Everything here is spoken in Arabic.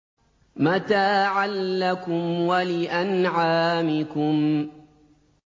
مَتَاعًا لَّكُمْ وَلِأَنْعَامِكُمْ